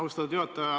Austatud juhataja!